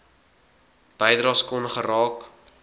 bydraes kon geraak